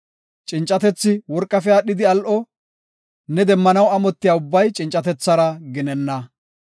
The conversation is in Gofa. Cincatethi worqafe aadhidi al7o; ne demmanaw amotiya ubbay cincatethara ginenna.